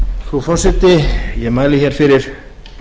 frú forseti ég mæli hér fyrir